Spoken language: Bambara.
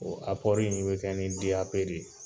O apɔri in be kɛ ni deyape de ye